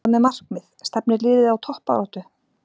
Hvað með markmið, stefnir liðið á toppbaráttu?